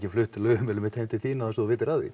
flutt lögheimilið heim til þín án þess að þú vitir af því